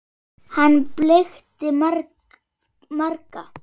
Hann blekkti marga.